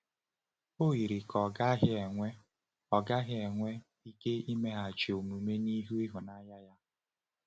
O yiri ka ọ gaghị enwe ọ gaghị enwe ike imeghachi omume n’ihu ịhụnanya ya.